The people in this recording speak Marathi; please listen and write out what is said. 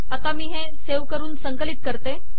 आता मी सेव्ह करून संकलित करते